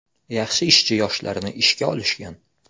Yaxshi ishchi yoshlarni ishga olishgan.